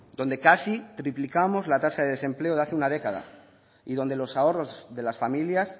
donde casi triplicamos la tasa de desempleo de hace una década y donde los ahorros de las familias